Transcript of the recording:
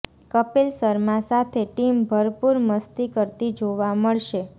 કપિલ શર્મા સાથે ટીમ ભરપૂર મસ્તી કરતી જોવા મળશે